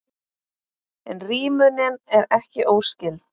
En rímunin er ekki óskyld.